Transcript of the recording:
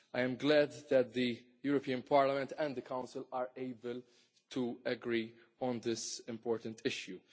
I am glad that the European Parliament and the Council are able to agree on this important issue.